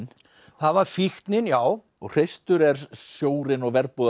það var fíknin já og hreistur er sjórinn og